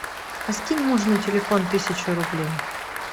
а скинь мужу на телефон тысячу рублей